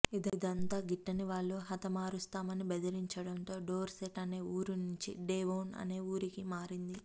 ఇదంతా గిట్టనివాళ్లు హతమారుస్తామని బెదిరించడంతో డోర్సెట్ అనే ఊరి నుంచి డేవొన్ అనే ఊరికి మారింది